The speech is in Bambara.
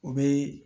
U bɛ